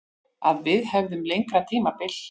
Að við hefðum lengra tímabil.